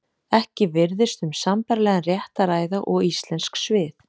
Ekki virðist um sambærilegan rétt að ræða og íslensk svið.